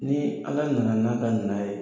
Ni Ala nana n'a ka na ye.